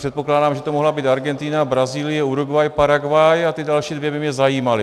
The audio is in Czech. Předpokládám, že to mohla být Argentina, Brazílie, Uruguay, Paraguay, a ty další dvě by mě zajímaly.